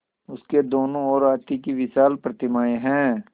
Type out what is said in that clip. उसके दोनों ओर हाथी की विशाल प्रतिमाएँ हैं